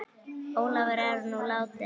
Ólafur er nú látinn.